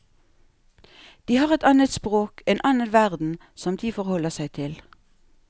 De har et annet språk, en annen verden som de forholder seg til.